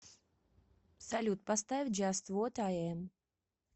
салют поставь джаст вот ай эм